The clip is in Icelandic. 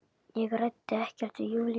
Ég ræddi ekkert við Júlíu.